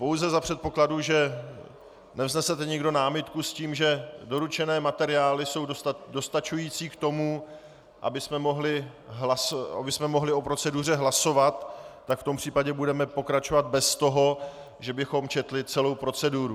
Pouze za předpokladu, že nevznesete někdo námitku s tím, že doručené materiály jsou dostačující k tomu, abychom mohli o proceduře hlasovat, tak v tom případě budeme pokračovat bez toho, že bychom četli celou proceduru.